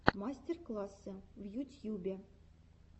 мастер классы в ютьюбе